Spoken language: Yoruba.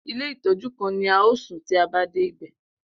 Ilé ìtọ́jú kan ni a ó sùn tí a bá dé ibẹ̀.